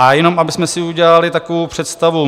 A jenom abychom si udělali takovou představu.